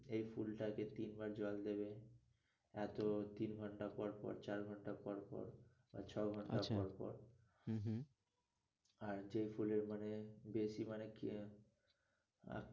এ ফুলটাকে তিন বার জল দেবে এতো তিন ঘন্টা পর পর, চার ঘন্টা পর পর, আর আচ্ছা ছয় ঘন্টা পর পর, হম হম আর যে ফুলের মানে বেশি মানে কি